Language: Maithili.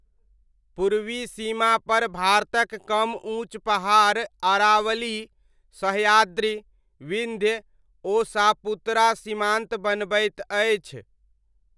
पूर्वी सीमापर भारतक कम ऊँच पहाड़ अरावली, सहयाद्रि, विन्ध्य ओ सापुतरा सीमान्त बनबैत अछि।